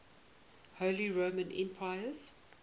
holy roman emperors